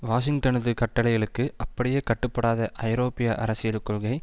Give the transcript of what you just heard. வாஷிங்டனது கட்டளைகளுக்கு அப்படியே கட்டுப்படாத ஐரோப்பிய அரசியல் கொள்கை